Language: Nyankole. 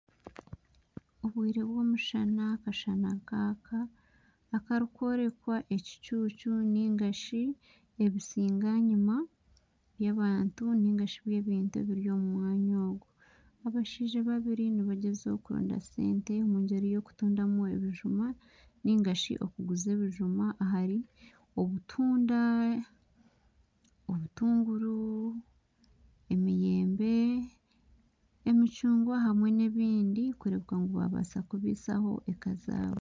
Obwire bw'omushana akashana nikaka akarikworeka ekicucu nari ebisinganyima by'abantu nari by'ebintu ebiri omu mwanya ogwo, abashaija babiri bariyo nibagyezaho kurondamu esente omu muringo gw'okutunda ebijuma omu mwanya ogwo, narishi okuguza ebijuma aharimu obutunda, obutunguru eminyembe, emicungwa hamwe n'ebindi kureeba ngu baabaasa kubaisaho eka zaabo